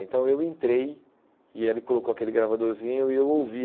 Então eu entrei e ele colocou aquele gravadorzinho e eu ouvi.